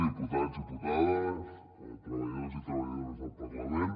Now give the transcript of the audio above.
diputats diputades treballadors i treballadores del parlament